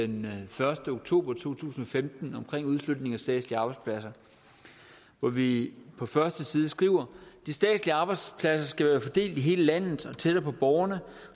den første oktober to tusind og femten om udflytning af statslige arbejdspladser hvor vi på første side skriver de statslige arbejdspladser skal være fordelt i hele landet og tættere på borgerne